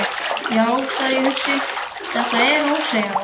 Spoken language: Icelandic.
Já, sagði ég hugsi: Þetta er. ósegjanlegt.